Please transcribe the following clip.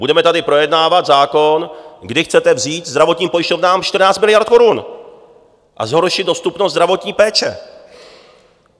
Budeme tady projednávat zákon, kdy chcete vzít zdravotním pojišťovnám 14 miliard korun a zhoršit dostupnost zdravotní péče.